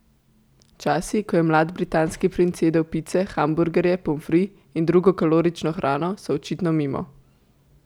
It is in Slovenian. Časi, ko je mlad britanski princ jedel pice, hamburgerje, pomfri in drugo kalorično hrano, so očitno mimo.